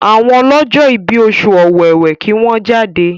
àwọn ọlọjọ ibí Oṣù Ọ̀wẹwẹ kí wón jáde!